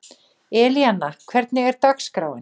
Elíanna, hvernig er dagskráin?